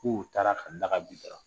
K'u taara ka